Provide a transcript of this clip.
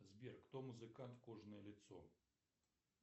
сбер кто музыкант кожаное лицо